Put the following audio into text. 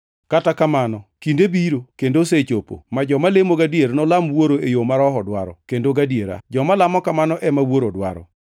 Kata kamano kinde biro, kendo osechopo, ma joma lemo gadier nolam Wuoro e yo ma Roho dwaro kendo gadiera, joma lamo kamano ema Wuoro dwaro.